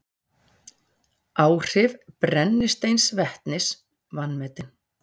Áhrif brennisteinsvetnis vanmetin